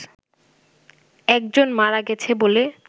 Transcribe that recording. একজন মারা গেছে বলে